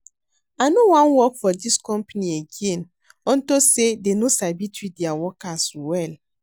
I no wan work for dis company again unto say dey no sabi treat their workers well